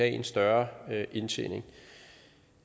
en større indtjening